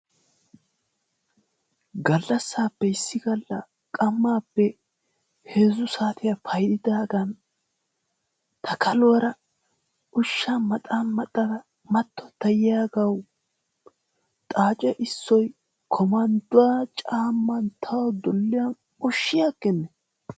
Gallassaappe issi gallan qammaappe heezzu saatiya paydaagan ta kaluwara ushshaa maxaa maxada mattotta yiyagawu xaace issoy komandduwa caamman tawu dulliyan ushshi aggennee.